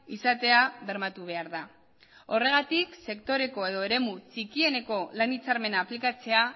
izatea bermatu behar da horregatik sektoreko edo eremu txikieneko lan hitzarmena aplikatzea